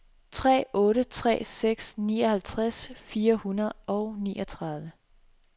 tre otte tre seks nioghalvtreds fire hundrede og niogtredive